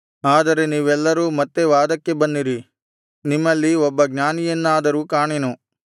ಆದರೆ ನೀವೆಲ್ಲರೂ ಮತ್ತೆ ವಾದಕ್ಕೆ ಬನ್ನಿರಿ ನಿಮ್ಮಲ್ಲಿ ಒಬ್ಬ ಜ್ಞಾನಿಯನ್ನಾದರೂ ಕಾಣೆನು